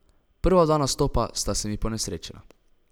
Prva dva nastopa sta se mi ponesrečila.